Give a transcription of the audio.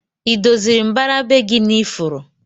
Idoziri mbara be gi na ifuru?